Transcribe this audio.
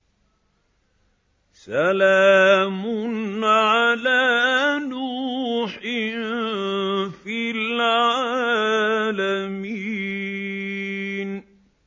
سَلَامٌ عَلَىٰ نُوحٍ فِي الْعَالَمِينَ